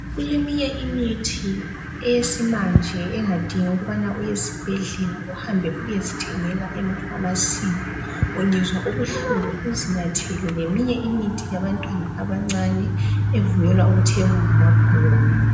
Kuleminye imithi eyesimanje engadingi ukubana uye esibhedlela uhambe uyezithengela emafamasi ungezwa ubuhlungu uzinathele leminye imithi yabantwana abancane evunyelwa ukuthenga ngamabhuku.